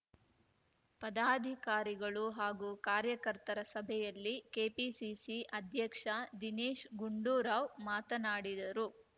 ಪದಾಧಿಕಾರಿಗಳು ಹಾಗೂ ಕಾರ್ಯಕರ್ತರ ಸಭೆಯಲ್ಲಿ ಕೆಪಿಸಿಸಿ ಅಧಕ್ಷ ದಿನೇಶ್‌ ಗುಂಡೂರಾವ್‌ ಮಾತನಾಡಿದರು